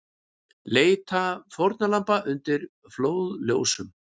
Leita fórnarlamba undir flóðljósum